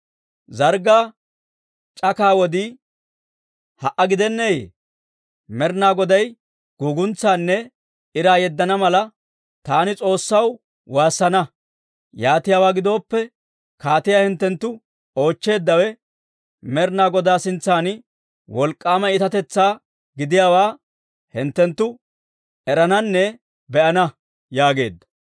Zarggaa c'akaa wodii ha"a gidenneeyye? Med'inaa Goday guguntsaanne iraa yeddana mala, taani S'oossaw waassana. Yaatiyaawaa gidooppe, kaatiyaa hinttenttu oochcheeddawe Med'inaa Godaa sintsan wolk'k'aama iitatetsaa gidiyaawaa hinttenttu erananne be'ana» yaageedda.